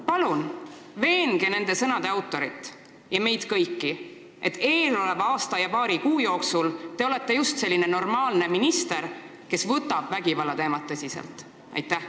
Palun veenge nende sõnade autorit ja meid kõiki, et eeloleva aasta ja paari kuu jooksul te olete just selline normaalne minister, kes võtab vägivallateemat tõsiselt!